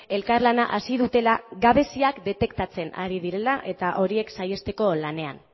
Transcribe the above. elkarlana hasi dutela gabeziak detektatzen ari direla eta horiek saihesteko lanean